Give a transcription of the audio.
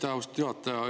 Aitäh, austatud juhataja!